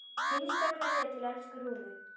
HINSTA KVEÐJA Til elsku Rúnu.